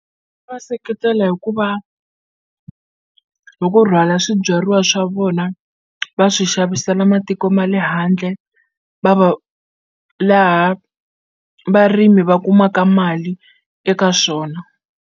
Seketela hikuva hi ku rhwala swibyariwa swa vona va swi xavisela matiko ma le handle va va laha varimi va kumaka mali eka swona.